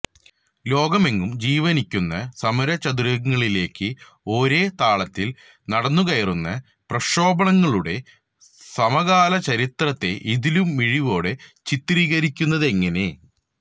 ലോകമെങ്ങും ജീവന്വയ്ക്കുന്ന സമരചത്വരങ്ങളിലേക്ക് ഒരേ താളത്തില് നടന്നുകയറുന്ന പ്രക്ഷോഭങ്ങളുടെ സമകാലചരിത്രത്തെ ഇതിലും മിഴിവോടെ ചിത്രീകരിക്കുന്നതെങ്ങനെ